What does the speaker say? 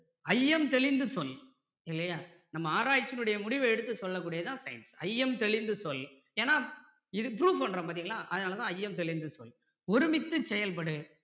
ஐயம் தெளிந்து சொல் இல்லையா நம்ம ஆராயிச்சியின் உடைய முடிவ எடுத்து சொல்ல கூடியது தான் science ஐயம் தெளிந்து சொல் ஏன்னா இது prove பண்றோம் பார்த்தீங்களா அதனால தான் ஐயம் தெளிந்து சொல் ஒருமித்துச் செயல்படு